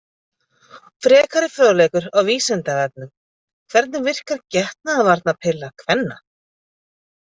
Frekari fróðleikur á Vísindavefnum: Hvernig verkar getnaðarvarnarpilla kvenna?